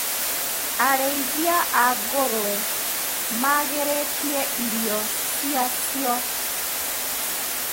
Arĩithia a ngũrũwe magĩrĩtie irio ciacio.